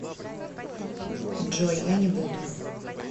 джой я не буду